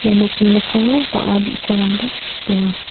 nokni mikango bang·a bi·sarangba donga.